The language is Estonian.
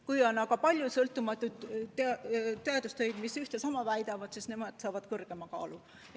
Kui on aga palju sõltumatuid teadustöid, mis üht ja sama väidavad, siis neil on suurem kaal.